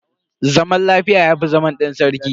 Zaman lafiya yafi zama ɗan sarki